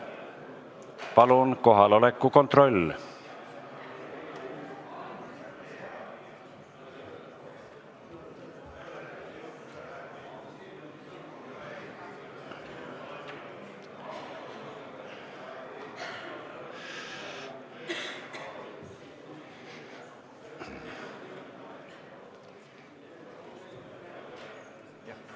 Palun kohaloleku kontroll!